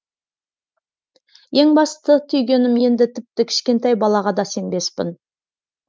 ең басты түйгенім енді тіпті кішкентай балаға да сенбеспін